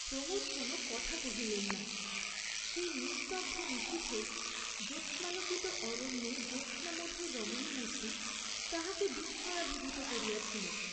প্রমোদ কোনও কথা কহিলেন না; সেই নিস্তব্ধ নিশীথে, জোৎস্নালোকিত অরণ্যে জ্যৎস্নামধুর রমণীমূর্ত্তি তাঁহাকে বিস্ময়াভিভূত করিয়াছিল।